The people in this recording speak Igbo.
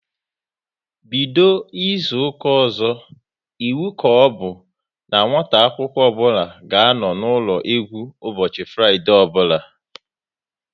Bido n'izuka ọzọ, iwu ka ọbụ n'nwata akwụkwọ ọbụla ga-anọ n'ụlọ egwu ụbọchị Fraịdee ọbụla